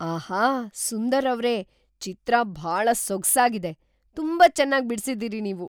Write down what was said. ಆಹಾ! ಸುಂದರ್‌ ಅವ್ರೇ, ಚಿತ್ರ ಭಾಳ ಸೊಗ್ಸಾಗಿದೆ! ತುಂಬಾ ಚೆನ್ನಾಗ್‌ ಬಿಡ್ಸಿದೀರಿ ನೀವು.